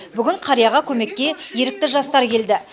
бүгін қарияға көмекке ерікті жастар келді